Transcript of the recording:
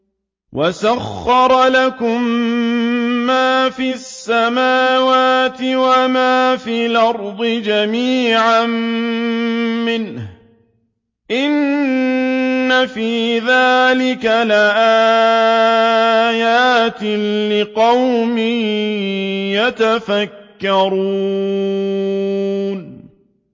وَسَخَّرَ لَكُم مَّا فِي السَّمَاوَاتِ وَمَا فِي الْأَرْضِ جَمِيعًا مِّنْهُ ۚ إِنَّ فِي ذَٰلِكَ لَآيَاتٍ لِّقَوْمٍ يَتَفَكَّرُونَ